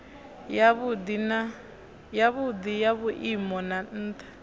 yavhudi ya vhuimo ha ntha